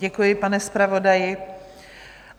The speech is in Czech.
Děkuji, pane zpravodaji.